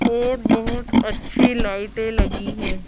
और बहुत अच्छी लाइटें लगी हैं।